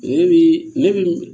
Ne bi ne bi